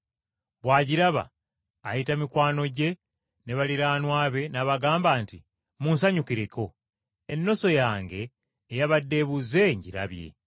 Bw’agiraba, ayita mikwano gye ne baliraanwa be n’abagamba nti, ‘Munsanyukireko, ennoso yange eyabadde ebuze ngirabye.’